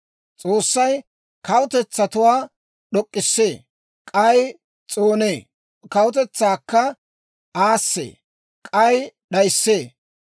S'oossay kawutetsatuwaa d'ok'k'isee; k'ay s'oonee. Kawutetsaakka aassee; k'ay d'ayissee.